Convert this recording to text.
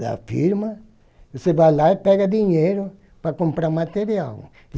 da firma, você vai lá e pega dinheiro para comprar material.